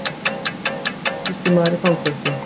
Japanskur kaupsýslumaður í fangelsi